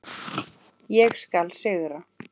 Ég skal sigra!